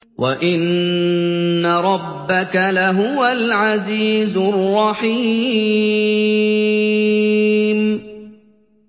وَإِنَّ رَبَّكَ لَهُوَ الْعَزِيزُ الرَّحِيمُ